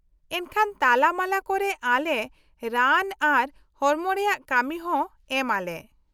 -ᱮᱱᱠᱷᱟᱱ ᱛᱟᱞᱟᱢᱟᱞᱟ ᱠᱚᱨᱮ ᱟᱞᱮ ᱨᱟᱱ ᱟᱨ ᱦᱚᱲᱚᱢ ᱨᱮᱭᱟᱜ ᱠᱟᱢᱤ ᱦᱚᱸ ᱮᱢ ᱟᱞᱮ ᱾